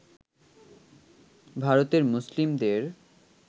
ভারতের মুসলিমদের